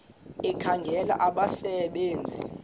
ekhangela abasebe nzi